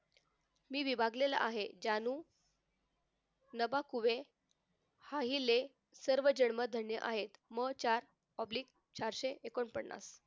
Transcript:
नि विभागलेला आहे जानू नभाकुहे पाहिले सर्वजन्म धन्य आहे म चार सहाशे oblige एकोणपन्नास